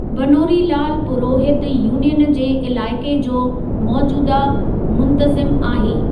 Banwarilal Purohit union जे इलाइक़े जो मोजूदह मुंतज़िम आहे।